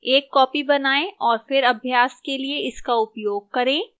एक copy बनाएं और फिर अभ्यास के लिए इसका उपयोग करें